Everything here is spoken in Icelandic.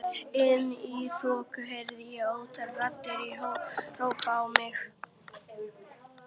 Inni í þokunni heyri ég ótal raddir hrópa á mig.